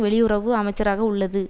வெளியுறவு அமைச்சராக உள்ளது